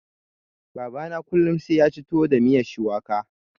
Baba na kullun sai yaci tuwo da miyan shuwaka.